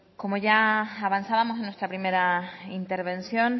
como ya avanzábamos en nuestra primera intervención